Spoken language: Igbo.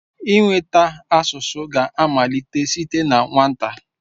Ịnweta asụsụ ga-amalite site na nwata.